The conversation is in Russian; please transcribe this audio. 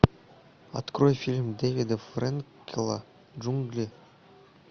открой фильм дэвида френкеля джунгли